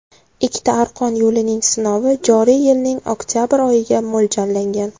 Ikkita arqon yo‘lning sinovi joriy yilning oktabr oyiga mo‘ljallangan.